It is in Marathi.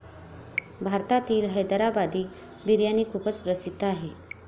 भारतातील हैदराबादी बिर्याणी खूपच प्रसिद्ध आहे.